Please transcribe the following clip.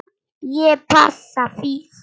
Ég passa þig.